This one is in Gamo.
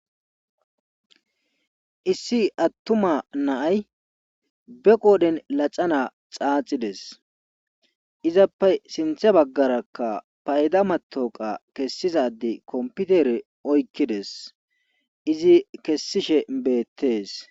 Issi attuma naay be qooden laxana xaaxides izappe sinthe baggarakka payda matoqa kessizade kompitere oykkides izi kessishe beettes